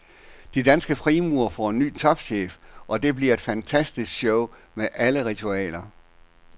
De danske frimurere får ny topchef, og det bliver et fantastisk show med alle ritualer.